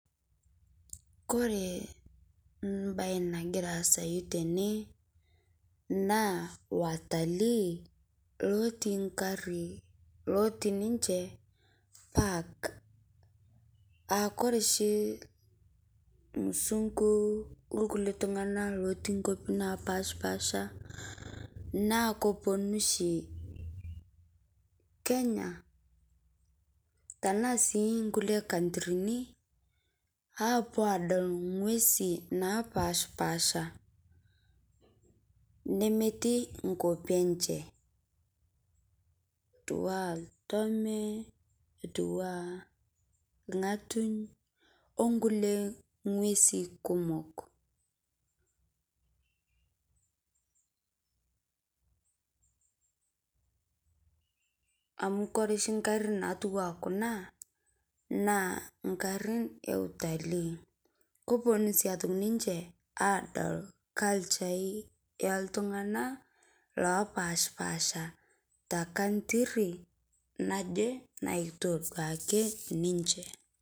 Ore mbae nagira asaa tene naa watalii otii egari lotii ninje park ore oshi irmzungu otii nkwapii napashipasha naa kepuonu oshi Kenya tenaa sii nkulie kantrini apuo adol ng'uesi napashipasha nemetii enkop enye etua ena olntome etui ena orng'atuny onkulie ng'uesi kumok amu ore gari naijio Kuna naa garin eutalii kepuonu sii atum ninje adol culture ai oltung'ani opashipasha tee country naaje nayieu ake ninje